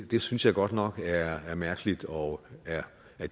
det synes jeg godt nok er mærkeligt og